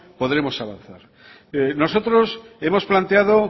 podremos saberlo nosotros hemos planteado